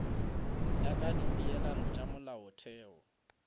ya ka dipeelano tša molaotheo